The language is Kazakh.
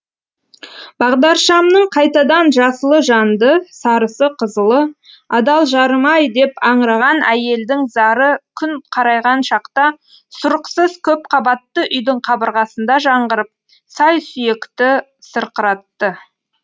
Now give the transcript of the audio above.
бағдаршамның қайтадан жасылы жанды сарысы қызылы адал жарым ай деп аңыраған әйелдің зары күн қарайған шақта сұрықсыз көпқабатты үйдің қабырғасында жаңғырып сай сүйекті сырқыратты